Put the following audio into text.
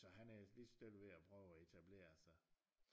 Så han er ellers lige så stille ved at prøve at etablere sig